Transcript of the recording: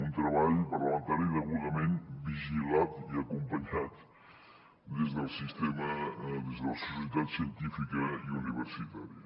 un treball parlamentari degudament vigilat i acompanyat des del sistema des de la societat científica i universitària